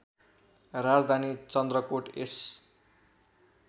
राजधानी चन्द्रकोट यस